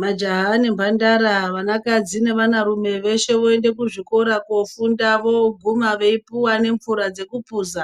Majaha nembandara, vanakadzi nevanarume veshe voende kuzvikora koofunda vooguma veipuwa nemvura dzekupuza.